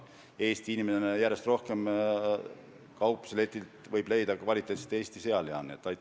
Eesti inimene võib kaupluseletilt järjest rohkem leida kvaliteetset Eesti sealiha.